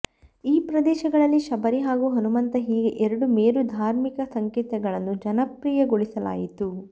ಈ ಪ್ರದೇಶಗಳಲ್ಲಿ ಶಬರಿ ಹಾಗೂ ಹನುಮಂತ ಹೀಗೆ ಎರಡು ಮೇರು ಧಾರ್ಮಿಕ ಸಂಕೇತಗಳನ್ನು ಜನಪ್ರಿಯಗೊಳಿಸಲಾಯಿತು